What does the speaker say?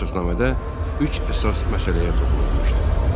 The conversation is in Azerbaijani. Əsasnamədə üç əsas məsələyə toxunulmuşdu.